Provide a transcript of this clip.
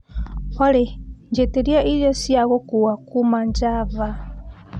olly njĩtĩria irio cia gũkua kuuma java